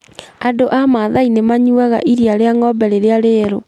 Andũ a Masai nĩ manyuaga iria rĩa ng'ombe rĩrĩa rĩerũ.